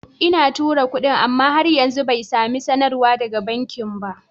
Ina tura kudin, amma har yanzu bai sami sanarwar daga bankinsa ba.